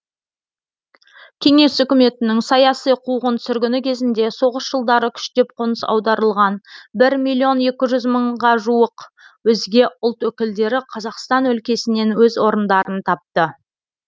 кеңес үкіметінің саяси қуғын сүргіні кезінде соғыс жылдары күштеп қоныс аударылған бір миллион екі жүз мыңға жуық өзге ұлт өкілдері қазақстан өлкесінен өз орындарын тапты